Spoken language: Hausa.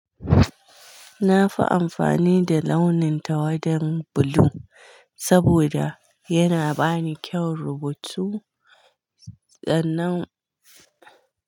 Na fi amfani da launin tawadan bulu saboda yana bani kyan rubutu. Sannan.